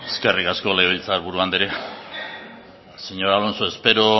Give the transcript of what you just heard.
eskerrik asko legebiltzar buru anderea señor alonso espero